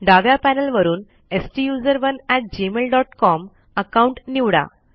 डाव्या पॅनल वरून STUSERONEgmailcom account निवडा